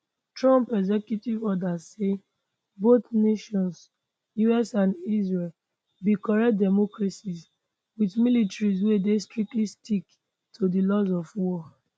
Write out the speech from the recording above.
trump executive order say both nations [us and israel] be correct democracies with militaries wey dey strictly stick to di laws of war